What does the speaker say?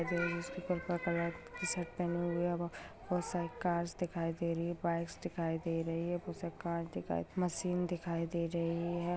है जो इसकी पर्पल कलर कि शर्ट पेहने हुए है बहुत सारी कार्स दिखाई दे रही है बाइक्स दिखाई दे रही है बहुत सारे कांच दिखाई मशीन दिखाई दे रही है।